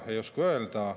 Ei oska öelda.